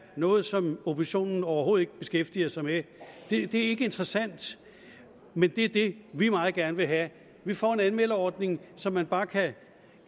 noget som oppositionen overhovedet ikke beskæftiger sig med det er ikke interessant men det er det vi meget gerne vil have vi får en anmeldeordning så man bare kan